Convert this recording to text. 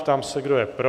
Ptám se, kdo je pro?